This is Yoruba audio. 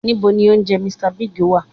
Ní bo ni ilé oúnjẹ "Mr Biggs" wà?